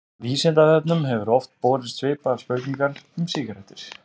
Vísindavefnum hefur oft borist svipaðar spurningar um sígarettur.